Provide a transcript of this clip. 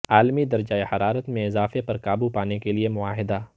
عالمی درجہ حرارت میں اضافے پر قابو پانے کے لیے معاہدہ